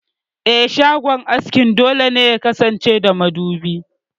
Eh, shagon askin dole ne yakasance da madubi.